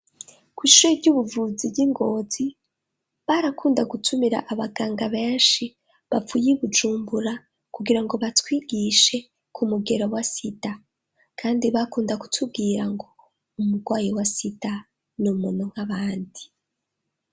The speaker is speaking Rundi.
Kw'ishure ry'ubuvuzi ryi Ngozi barakunda gutumira abaganga benshi bapfuye Bujumbura kugira ngo batwigishe ku mugero wa sida ,kandi bakunda gutubwira ngo umugwayi wa sida ni umuntu nk'abandi.